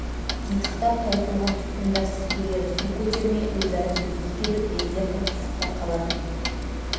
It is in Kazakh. титықтап таусылған тұтқындар сіркелері су көтермей өзара сөзге келіп лезде қырқысып та қалатын